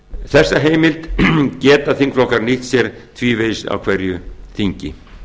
þessa heimild geta þingflokka nýtt sér tvívegis á hverju þingi